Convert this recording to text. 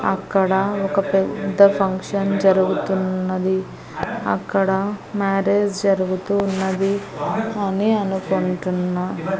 అక్కడ ఒక పెద్ద ఫంక్షన్ జరుగుతున్నది అక్కడ మ్యారేజ్ జరుగుతూవున్నది అని అనుకుంటున్న.